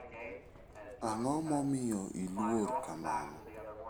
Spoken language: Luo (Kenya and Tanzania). Ang'o momiyo iluor kamano?